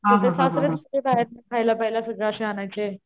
तर ते सासरेच सगळं बाहेरन खायला पेयला सगळं असं आणायचे.